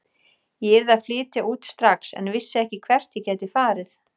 Ég yrði að flytja út strax en vissi ekki hvert ég gæti farið.